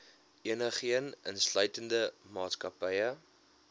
enigeen insluitende maatskappye